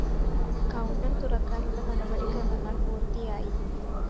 counter തുറക്കാനുള്ള നടപടി ക്രമങ്ങള്‍ പൂര്‍ത്തിയായി